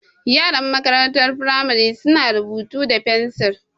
Yaran makarantar firamari su na rubutu da fensil